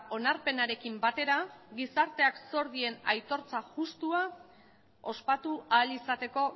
onarpenarekin batera gizarteak zor dien aitortza justua ospatu ahal izateko